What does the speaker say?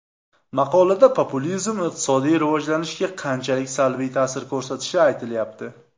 Maqolada populizm iqtisodiy rivojlanishga qanchalik salbiy ta’sir ko‘rsatilishi aytilyapti.